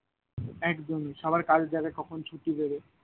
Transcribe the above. একদমই সবার কাজের জায়গা কখন ছুটি দেবে